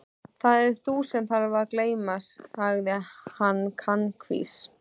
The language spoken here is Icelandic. Það ert þú sem þarft að gleyma sagði hann kankvís.